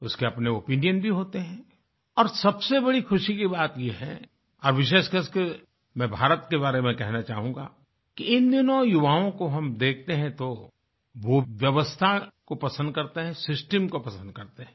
उसके अपने ओपिनियन भी होते हैं और सबसे बड़ी खुशी की बात ये है और विशेषकरके मैं भारत के बारे में कहना चाहूँगा कि इन दिनों युवाओं को हम देखते हैं तो वो व्यवस्था को पसंद करते हैं सिस्टम को पसंद करते हैं